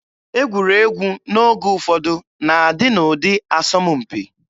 Egwuregwu n'oge ụfọdụ na-adị n'ụdị asọmpi.